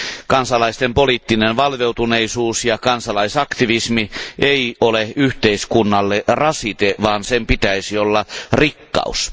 Kansalaisten poliittinen valveutuneisuus ja kansalaisaktivismi ei ole yhteiskunnalle rasite, vaan sen pitäisi olla rikkaus.